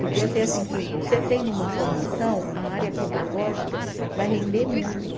Porque eu sei assim, que você tendo uma formação, a área pedagógica vai render muito.